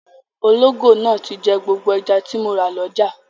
Ológò náà ti jẹ gbogbo ẹja tí mo rà lọ́jà.